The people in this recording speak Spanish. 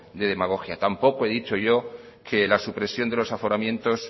de demagogia tampoco he dicho yo que la supresión de los aforamientos